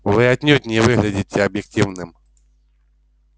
вы отнюдь не выглядите объективным